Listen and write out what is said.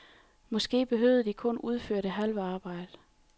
Måske behøvede de kun udføre det halve arbejde.